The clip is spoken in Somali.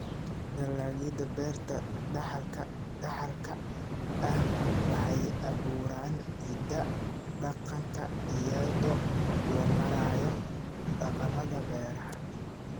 Dalagyada Beerta Dhaxalka Dhaxalka ah waxay abuuraan hidaha dhaqanka iyadoo loo marayo dhaqamada beeraha.